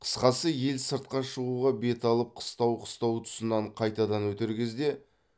қысқасы ел сыртқа шығуға бет алып қыстау қыстау тұсынан қайтадан өтер кезде